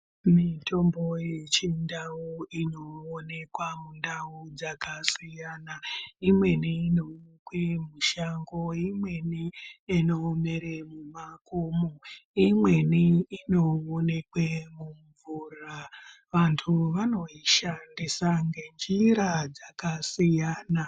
Mutombo yechindau inoonekwa mundau dzakasiyana imweni mushangoimweni inomera mumakomo imweni inoonekwe mumvura vantu vanoishandisa nenjira dzakasiyana.